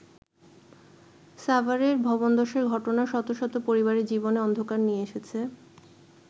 সাভারের ভবনধসের ঘটনা শত শত পরিবারের জীবনে অন্ধকার নিয়ে এসেছে।